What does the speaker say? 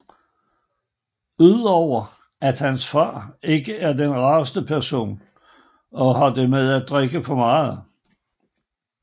Udover at hans far ikke er den rareste person og har det med at drikke for meget